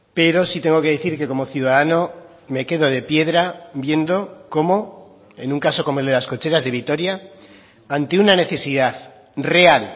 pero sí tengo que decir que como ciudadano me quedo de piedra viendo cómo en un caso como el de las cocheras de vitoria ante una necesidad real